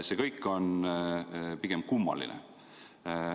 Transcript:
See kõik on pigem kummaline.